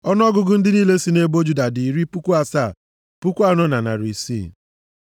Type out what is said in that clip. Ọnụọgụgụ ndị niile sị nʼebo Juda dị iri puku asaa, puku anọ na narị isii (74,600).